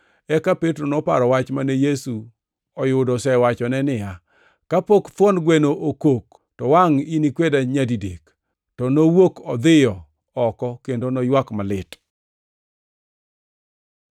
Eka Petro noparo wach mane oyudo Yesu osewachone niya, “Kapok thuon gweno okok, to wangʼ inikweda nyadidek.” To nowuok odhiyo oko kendo noywak malit.